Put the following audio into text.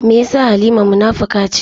Me yasa Halima munafuka ce?